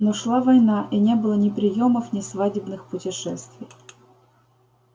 но шла война и не было ни приёмов ни свадебных путешествий